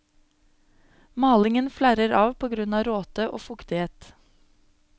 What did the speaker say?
Malingen flerrer av på grunn av råte og fuktighet.